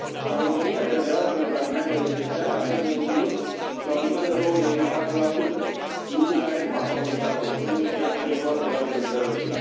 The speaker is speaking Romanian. În România, TVA ul pentru alimentele esențiale a fost menținut la un nivel de 24, lucru care nu a favorizat consumul, ci a accentuat gradul de sărăcie.